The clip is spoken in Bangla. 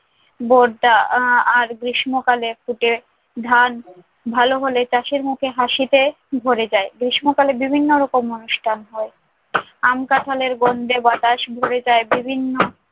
বরটা আহ আর গ্রীষ্মকালে ফুটে ধান ভালো হলে চাষির মুখে হাসিতে ভরে যায়। গ্রীষ্মকালে বিভিন্ন রকম অনুষ্ঠান হয়। আম-কাঁঠালের গন্ধে বাতাস ভরে যায় বিভিন্ন